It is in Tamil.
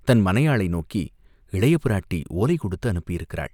தமது மனையாளை நோக்கி, "இளையபிராட்டி ஓலை கொடுத்து அனுப்பியிருக்கிறாள்.